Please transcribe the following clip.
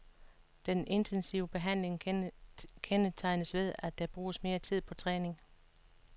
Den intensive behandling kendetegnes ved, at der bruges mere tid på træning.